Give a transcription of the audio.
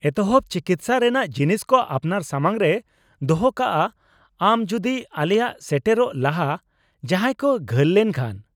-ᱮᱛᱚᱦᱚᱱ ᱪᱤᱠᱤᱥᱥᱟ ᱨᱮᱱᱟᱜ ᱡᱤᱱᱤᱥ ᱠᱚ ᱟᱯᱱᱟᱨ ᱥᱟᱢᱟᱝ ᱨᱮ ᱫᱚᱦᱚᱠᱟᱜ ᱟᱢ ᱡᱩᱫᱤ ᱟᱞᱮ ᱥᱮᱴᱮᱨᱚᱜ ᱞᱟᱦᱟ ᱡᱟᱦᱟᱸᱭ ᱠᱚ ᱜᱷᱟᱹᱞ ᱞᱮᱱ ᱠᱷᱟᱱ ᱾